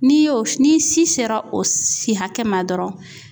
N'i y'o n'i si sera o si hakɛ ma dɔrɔn